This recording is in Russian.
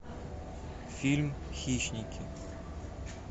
фильм хищники